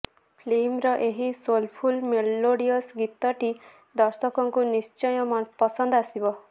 ଫିଲ୍ମର ଏହି soulful melodious ଗୀତଟି ଦର୍ଶକଙ୍କୁ ନିଶ୍ଚୟ ପସନ୍ଦ ଆସିବ